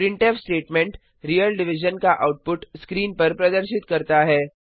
printf statement real division का output screen पर प्रदर्शित करता है